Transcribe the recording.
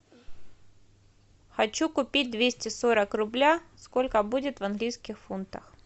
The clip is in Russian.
хочу купить двести сорок рубля сколько будет в английских фунтах